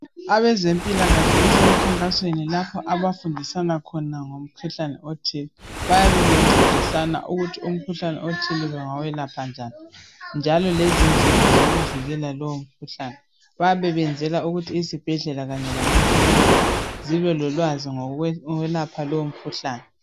Abezempilakahle baseminkankasweni lapho abafundisana khona ngomkhuhlane othile bayane ngcedisana ukuthi umkhuhlane othile bengawuyelapha njani njalo lezindlela zokuwuvikela lowo mkhuhlane bayabe besenzala ukuthi izibhedlela lamaclinika zibe lolwazi lokuyelapha lowo mkhuhlane